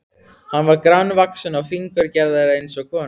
Hann var grannvaxinn og fíngerður eins og kona.